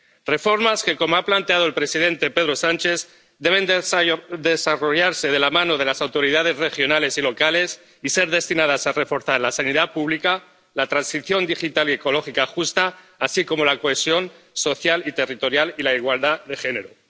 Reformas que, como ha planteado el presidente Pedro Sánchez, deben desarrollarse de la mano de las autoridades regionales y locales e ir destinadas a reforzar la sanidad pública, la transición digital y ecológica justa, así como la cohesión social y territorial y la igualdad de género.